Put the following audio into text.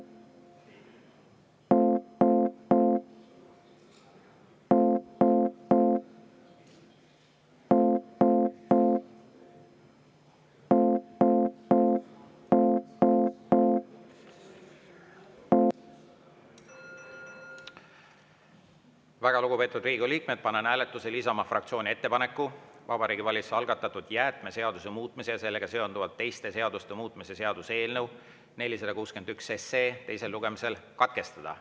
Väga lugupeetud Riigikogu liikmed, panen hääletusele Isamaa fraktsiooni ettepaneku Vabariigi Valitsuse algatatud jäätmeseaduse muutmise ja sellega seonduvalt teiste seaduste muutmise seaduse eelnõu 461 teine lugemine katkestada.